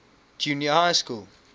junior high school